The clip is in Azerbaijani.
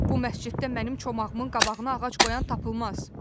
Bu məsciddə mənim çomağımın qabağına ağac qoyan tapılmaz.